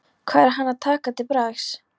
Hvað á hann að taka til bragðs?